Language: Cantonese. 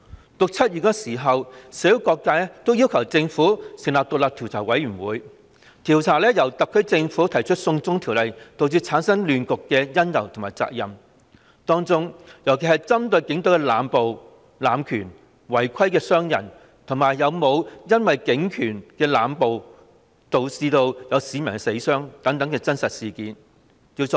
在6月、7月時，社會各界均要求政府成立獨立調查委員會，調查因特區政府提出"送中條例"而導致的亂局的因由和責任，當中特別針對調查警隊濫捕、濫權、違規傷人，以及是否有市民因警暴而死傷等事實真相。